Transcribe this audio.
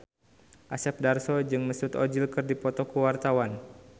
Asep Darso jeung Mesut Ozil keur dipoto ku wartawan